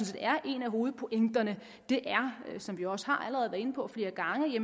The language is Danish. set er en af hovedpointerne er som vi også allerede har været inde på flere gange at